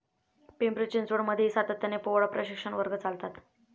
पिंपरी चिंचवड मध्येही सातत्याने पोवाडा प्रशिक्षण वर्ग चालतात.